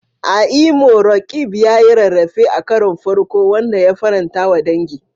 A Imo, Roqeeb ya yi rarrafe a karon farko, wanda ya faranta wa dangi.